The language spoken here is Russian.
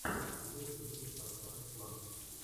лучший выпуск оксаны слафф